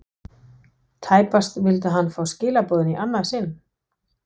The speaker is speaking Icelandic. Tæpast vildi hann fá skilaboðin í annað sinn.